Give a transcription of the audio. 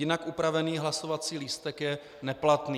Jinak upravený hlasovací lístek je neplatný.